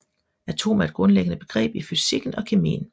Atom er et grundlæggende begreb i fysikken og kemien